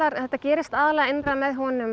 þetta gerist aðallega innra með honum